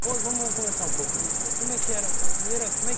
Vamos conversar um pouco disso então, como é que era a primeira